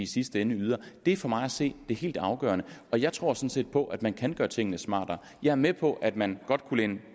sidste ende yder det er for mig at se det helt afgørende og jeg tror sådan set på at man kan gøre tingene smartere jeg er med på at man godt kunne læne